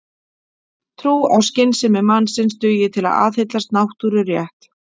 Trú á skynsemi mannsins dugi til að aðhyllast náttúrurétt.